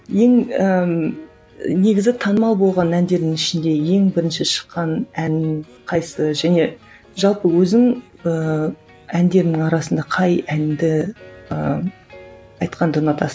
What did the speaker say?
ең ііі негізі танымал болған әндердің ішінде ең бірінші шыққан ән қайсысы және жалпы өзің ыыы әндеріңнің арасында қай әнді ыыы айтқанды ұнатасың